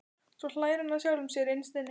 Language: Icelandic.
Svo hlær hann að sjálfum sér innst inni.